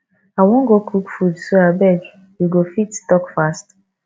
i wan go cook food so abeg you go fit talk fast